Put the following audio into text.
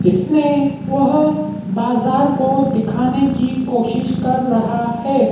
इसमें वह बाजार को दिखाने की कोशिश कर रहा है।